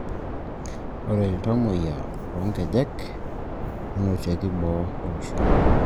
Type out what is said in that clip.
Ore iltamuayia loonkonyek nenotieki boo olosho